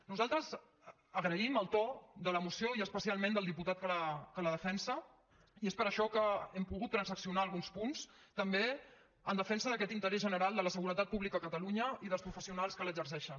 nosaltres agraïm el to de la moció i especialment del diputat que la defensa i és per això que hem pogut transaccional alguns punts també en defensa d’aquest interès general de la seguretat pública a catalunya i dels professionals que l’exerceixen